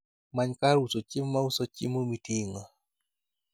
Many kar uso chiemo mauso chiemo miting'o